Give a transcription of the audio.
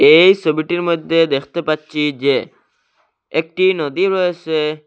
এই সবিটির মইধ্যে দেখতে পাচ্চি যে একটি নদী রয়েসে।